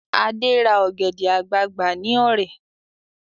Ade ra ọ̀gẹ̀dẹ̀ àgbagbà ní Ọ̀rẹ̀